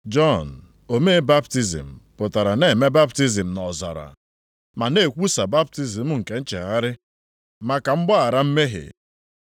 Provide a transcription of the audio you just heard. Jọn omee baptizim pụtara na-eme baptizim nʼọzara, ma na-ekwusa baptizim nke nchegharị maka mgbaghara mmehie.